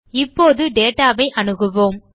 இப்போது data ஐ அணுகுவோம்